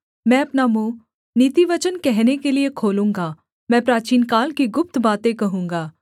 मैं अपना मुँह नीतिवचन कहने के लिये खोलूँगा मैं प्राचीनकाल की गुप्त बातें कहूँगा